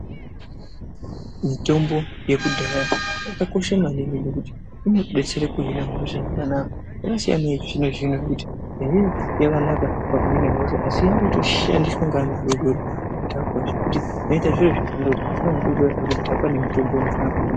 Mitombo yekudhayabyakakosha maningi ngekuti inotodetsera kuhina hosha zvakanaka inosiyana neyechizvino zvino kuti yakanaka pakuhine hosha asi yakutishandiswa ngeanhu adodori akuita zvekudhakwa ngemitombo iyi.